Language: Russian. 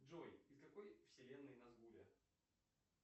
джой из какой вселенной насгуля